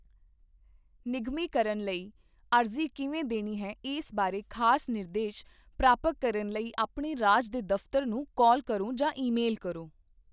ਨਿਗਮੀਕਰਨ ਲਈ ਅਰਜ਼ੀ ਕਿਵੇਂ ਦੇਣੀ ਹੈ ਇਸ ਬਾਰੇ ਖਾਸ ਨਿਰਦੇਸ਼ ਪ੍ਰਾਪਕ ਕਰਨ ਲਈ ਆਪਣੇ ਰਾਜ ਦੇ ਦਫ਼ਤਰ ਨੂੰ ਕਾਲ ਕਰੋ ਜਾਂ ਈਮੇਲ ਕਰੋ।